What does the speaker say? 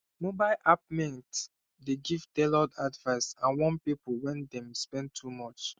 mobile app mint dey give tailored advice and warn people when dem spend too much